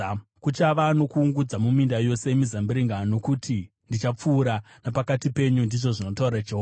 Kuchava nokuungudza muminda yose yemizambiringa, nokuti ndichapfuura napakati penyu,” ndizvo zvinotaura Jehovha.